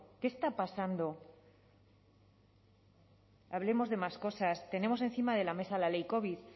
qué está pasando hablemos de más cosas tenemos encima de la mesa la ley covid